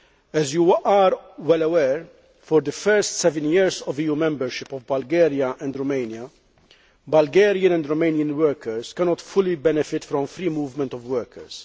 As you are well aware, for the first seven years of the EU membership of Bulgaria and Romania, Bulgarian and Romanian workers cannot fully benefit from free movement of workers.